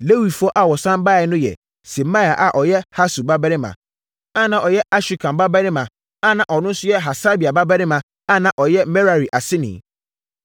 Lewifoɔ a wɔsane baeɛ no yɛ: Semaia a ɔyɛ Hasub babarima, a na ɔyɛ Asrikam babarima, a na ɔno nso yɛ Hasabia babarima, a na ɔyɛ Merari aseni;